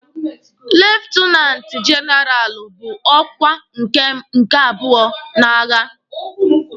Lietenanti jenaralụ bụ ọkwa nke abụọ n'agha.